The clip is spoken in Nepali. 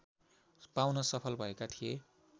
पाउन सफल भएका थिए